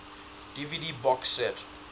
dvd box set